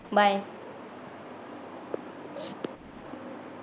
bye